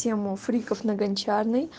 тему фриков на гончарной